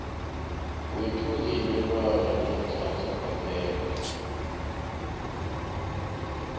wethungelelwano leenhlahla kwaphela